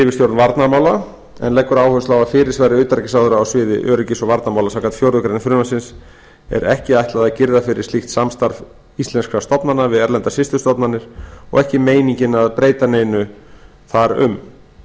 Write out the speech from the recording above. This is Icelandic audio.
yfirstjórn varnarmála en leggur áherslu á að fyrirsvari utanríkisráðherra á sviði öryggis og varnarmála samkvæmt fjórðu grein frumvarpsins er ekki ætlað að girða fyrir slíkt samstarf íslenskra stofnana við erlendar systurstofnanir og ekki meiningin að breyta neinu þar um